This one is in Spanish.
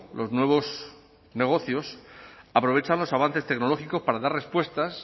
los nuevos negocios aprovechan los avances tecnológicos para dar respuestas